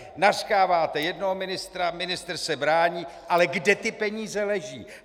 Nařknete jednoho ministra, ministr se brání, ale kde ty peníze leží?